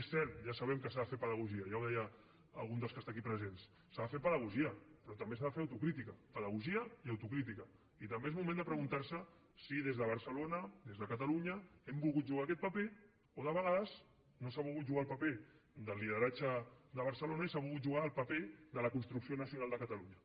és cert ja sabem que s’ha de fer pedagogia ja ho deia algun dels que està aquí presents s’ha de fer pedagogia però també s’ha de fer autocrítica pedagogia i autocrítica i també és moment de preguntar se si des de barcelona des de catalunya hem volgut jugar aquest paper o de vegades no s’ha volgut jugar el paper de lideratge de barcelona i s’ha volgut jugar el paper de la construcció nacional de catalunya